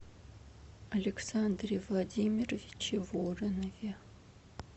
александре владимировиче воронове